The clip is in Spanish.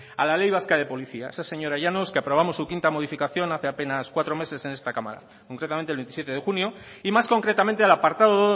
a la ley vasca de policía esa señora llanos que aprobamos su quinta modificación hace apenas cuatro meses en esta cámara concretamente el veintisiete de junio y más concretamente al apartado